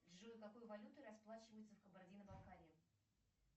джой какой валютой расплачиваются в кабардино балкарии